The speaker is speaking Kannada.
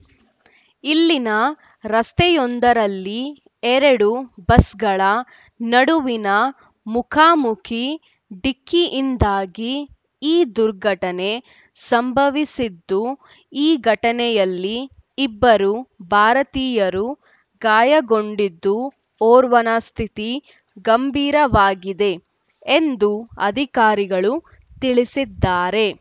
ಇಲ್ಲಿನ ರಸ್ತೆಯೊಂದರಲ್ಲಿ ಎರಡು ಬಸ್‌ಗಳ ನಡುವಿನ ಮುಖಾಮುಖಿ ಡಿಕ್ಕಿಯಿಂದಾಗಿ ಈ ದುರ್ಘಟನೆ ಸಂಭವಿಸಿದ್ದು ಈ ಘಟನೆಯಲ್ಲಿ ಇಬ್ಬರು ಭಾರತೀಯರೂ ಗಾಯಗೊಂಡಿದ್ದು ಓರ್ವನ ಸ್ಥಿತಿ ಗಂಭೀರವಾಗಿದೆ ಎಂದು ಅಧಿಕಾರಿಗಳು ತಿಳಿಸಿದ್ದಾರೆ